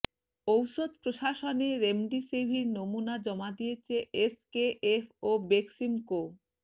ঔষধ প্রশাসনে রেমডেসিভির নমুনা জমা দিয়েছে এসকেএফ ও বেক্সিমকো